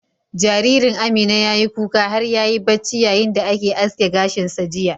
Jaririn Amina ya yi kuka har ya yi bacci yayin da ake aske gashin sa jiya.